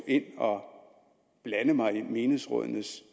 ind og blande mig i menighedsrådenes